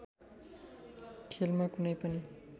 खेलमा कुनै पनि